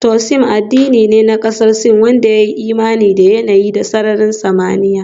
Taoism addini ne na kasar Sin wanda ya yi imani da yanayi da sararin samaniya